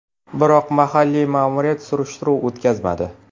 Biroq mahalliy ma’muriyat surishtiruv o‘tkazmadi.